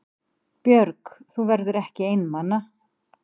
Björg: Þú verður ekki einmana?